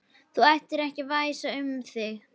Það ætti ekki að væsa um þig.